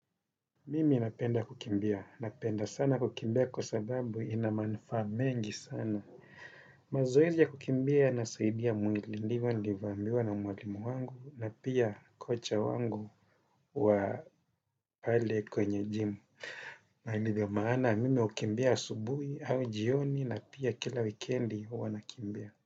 Mimi napenda kukimbia. Napenda sana kukimbia kwa sababu inamanufaa mengi sana. Mazoezi ya kukimbia yanasaidia mwili ndivyo nilivyovambiwa na mwalimu wangu na pia kocha wangu wa pale kwenye jimu. Na ndivyo maana mimi hukimbia asubuhi au jioni na pia kila weekendi huwa nakimbia.